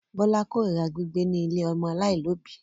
Bọ́lá korira gbígbé ní ilé ọmọ aláìlóòbí.